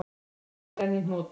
Málið er enn í hnút.